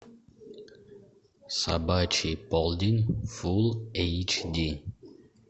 собачий полдень фулл эйч ди